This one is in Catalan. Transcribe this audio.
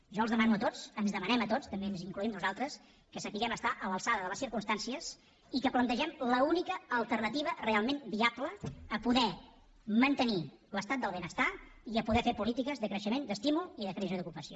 jo els demano a tots ens demanem a tots també ens hi incloem nosaltres que sapiguem estar a l’alçada de les circumstàncies i que plantegem l’única alternativa realment viable a poder mantenir l’estat del benestar i a poder fer polítiques de creixement d’estímul i de creació d’ocupació